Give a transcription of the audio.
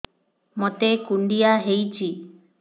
ମୋତେ କୁଣ୍ଡିଆ ହେଇଚି